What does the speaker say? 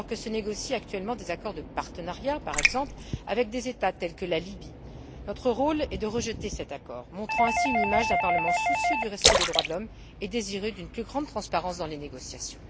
Alors que se négocient actuellement des accords de partenariat, par exemple, avec des États tels que la Libye, notre rôle est de rejeter cet accord, montrant ainsi une image d'un Parlement soucieux du respect des droits de l'homme et désireux d'une plus grande transparence dans les négociations.